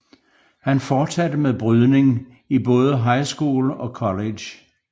Han fortsatte med brydning i både high school og college